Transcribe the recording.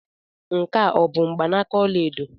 Nke a ọ bụ mgbanaka ọla edo?